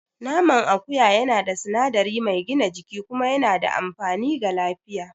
Naman akuya yana da sinadari mai gina jiki kuma yana da amfani ga lafiya.